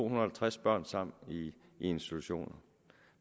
og halvtreds børn sammen i en institution og